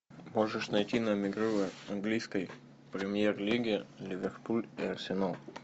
можешь найти нам игру английской премьер лиги ливерпуль и арсенал